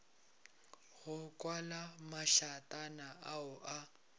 go kwala mašatana ao a